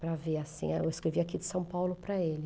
Para ver assim, eu escrevi aqui de São Paulo para ele.